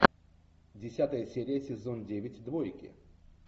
десятая серия сезон девять двойки